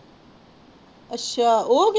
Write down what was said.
ਅੱਛਾ ਓਹਦੀ